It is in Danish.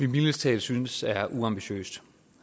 mildest talt synes er uambitiøs